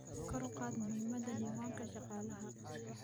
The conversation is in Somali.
Kor u qaad muhiimada diiwaanka shaqaalaha.